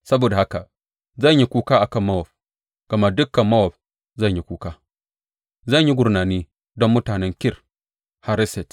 Saboda haka zan yi kuka a kan Mowab gama dukan Mowab zan yi kuka, Zan yi gurnani don mutanen Kir Hareset.